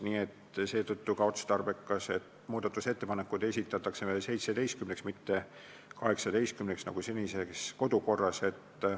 Nii et seetõttu on otstarbekas, et muudatusettepanekud esitataks kella 17-ks, mitte kella 18-ks, nagu on senises kodukorras.